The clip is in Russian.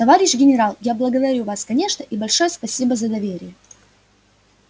товарищ генерал я благодарю вас конечно и большое спасибо за доверие